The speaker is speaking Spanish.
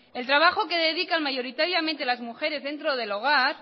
el trabajo que dedican mayoritariamente las mujeres dentro del hogar